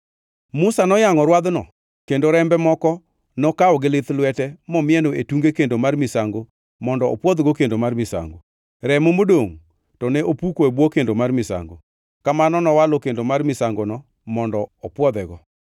Musa noyangʼo rwadhno kendo rembe moko nokawo gi lith lwete momieno e tunge kendo mar misango mondo opwodhgo kendo mar misango. Remo modongʼ to ne opuko e bwo kendo mar misango. Kamano nowalo kendo mar misangono mondo opwodhego.